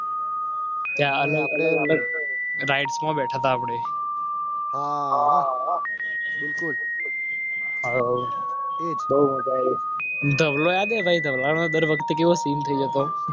રાઈટમાં બેઠા તા આપણેહા બિલકુલએ તોદર વખતે